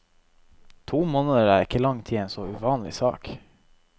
To måneder er ikke lang tid i en så uvanlig sak.